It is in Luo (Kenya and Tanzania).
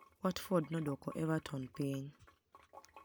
Watford nodwoko Evertoni piniy.